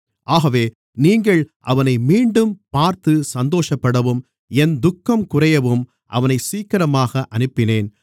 ஆகவே நீங்கள் அவனை மீண்டும் பார்த்து சந்தோஷப்படவும் என் துக்கம் குறையவும் அவனை சீக்கிரமாக அனுப்பினேன்